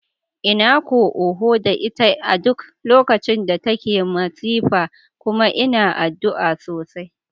Ina ko oho da ita a duk lokacin da take masifa kuma ina addu'a sosai.